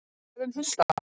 Hvað um hundana?